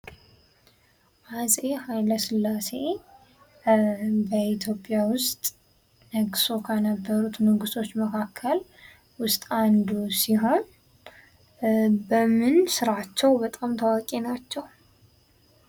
አፄ ሃይለስላሴ በኢትዮጵያ ውስጥ ነግሶ ከነበሩት ንጉሶች መካከል ውስጥ አንዱ ሲሆን በምን ስራቸው በጣም ታዋቂ ናቸው?